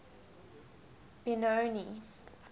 benoni